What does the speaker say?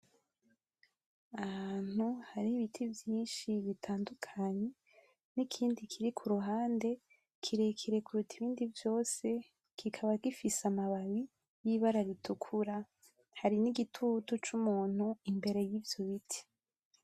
Ahantu hari ibiti vyinshi bitandukanye n'ikindi kiri kuruhande kirekire kuruta ibindi vyose kikaba gifise amababi y'ibara ritukura hari n'igitutu c'umuntu imbere yivyo biti.